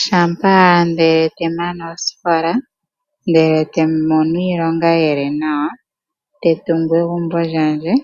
Shampa nda mana osikola, e tandi mono iilonga yi li nawa, tandi tungu egumbo lyandje;